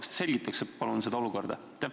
Kas te selgitaksite palun seda olukorda?